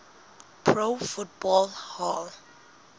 pro football hall